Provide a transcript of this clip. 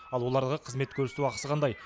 ал олардағы қызмет көрсету ақысы қандай